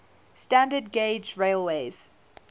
standard gauge railways